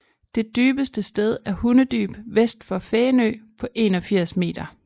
Det dybeste sted er Hundedyb vest for Fænø på 81 m